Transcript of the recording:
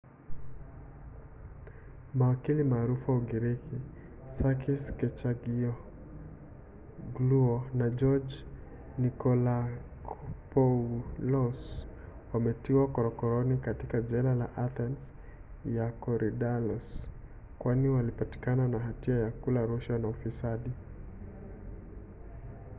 mawakili maarufu wa ugiriki sakis kechagiogluo na george nikolakopoulos wametiwa korokoroni katika jela ya athens ya korydallus kwani walipatikana na hatia ya kula rushwa na ufisadi